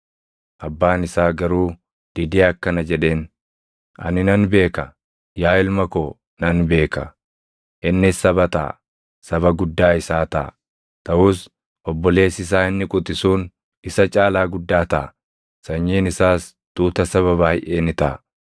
Abbaan isaa garuu didee akkana jedheen; “Ani nan beeka; yaa ilma koo nan beeka. Innis saba taʼa; saba guddaa isaa taʼa. Taʼus obboleessi isaa inni quxisuun isa caalaa guddaa taʼa; sanyiin isaas tuuta saba baayʼee ni taʼa.”